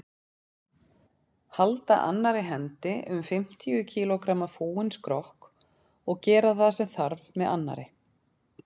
Halda annarri hendi um fimmtíu kílógramma fúinn skrokk og gera það sem þarf með annarri.